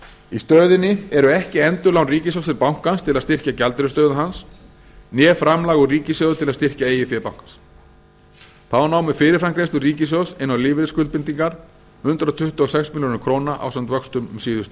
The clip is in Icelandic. í stöðunni eru ekki endurlán ríkissjóðs til bankans til að styrkja gjaldeyrisstöðu hans né framlag úr ríkissjóði til að styrkja eigið fé bankans þá námu fyrirframgreiðslur ríkissjóðs inn á lífeyrisskuldbindingar hundrað tuttugu og sex milljörðum króna ásamt vöxtum um síðustu